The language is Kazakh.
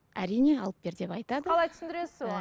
әрине алып бер деп айтады сіз қалай түсіндіресіз оған